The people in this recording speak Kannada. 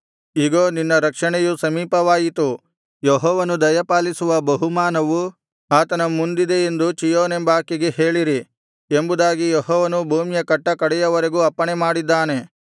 ಇಗೋ ನಿನ್ನ ರಕ್ಷಣೆಯು ಸಮೀಪವಾಯಿತು ಯೆಹೋವನು ದಯಪಾಲಿಸುವ ಬಹುಮಾನವು ಆತನ ಮುಂದಿದೆ ಎಂದು ಚೀಯೋನೆಂಬಾಕೆಗೆ ಹೇಳಿರಿ ಎಂಬುದಾಗಿ ಯೆಹೋವನು ಭೂಮಿಯ ಕಟ್ಟಕಡೆಯವರೆಗೂ ಅಪ್ಪಣೆಮಾಡಿದ್ದಾನೆ